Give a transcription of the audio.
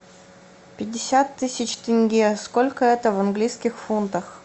пятьдесят тысяч тенге сколько это в английских фунтах